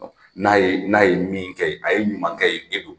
N'a ye n'a ye min kɛ ye a ye ɲuman kɛ yen e don